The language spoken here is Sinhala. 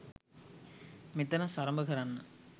මෙතන සරඹ කරන්න